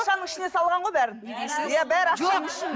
ішіне салған ғой бәрін иә бәрі